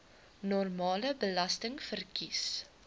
normale belasting verkies